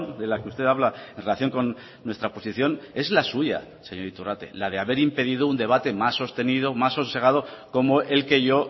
de la que usted habla en relación con nuestra posición es la suya señor iturrate la de haber impedido un debate más sostenido más sosegado como el que yo